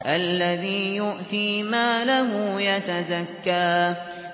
الَّذِي يُؤْتِي مَالَهُ يَتَزَكَّىٰ